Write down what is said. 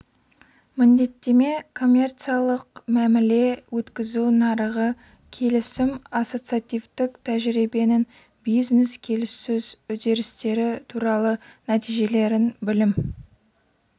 міндеттеме коммерцияллық мәміле өткізу нарығы келісім ассоциативтік тәжірибенің бизнес келіссөз үдерістері туралы нәтижелерін білім